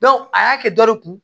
a y'a kɛ dɔ de kun